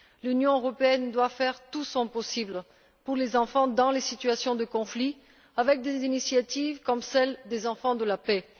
L'Union européenne doit faire tout son possible pour les enfants dans les situations de conflit avec des initiatives comme celle des Enfants de la Paix.